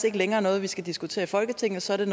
ikke længere noget vi skal diskutere i folketingssalen